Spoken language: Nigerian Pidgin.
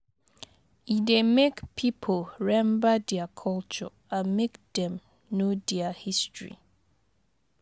E dey mek pipo remmba dia culture and mek dem no dia history